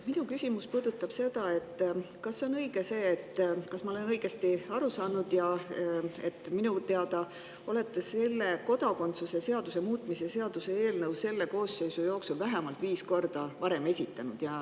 Minu küsimus puudutab seda, et kas minu teadmine on õige ja kas ma olen õigesti aru saanud sellest, et te olete selle kodakondsuse seaduse muutmise seaduse eelnõu selle koosseisu jooksul vähemalt viis korda juba esitanud.